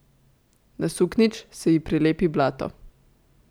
Na suknjič se ji prilepi blato.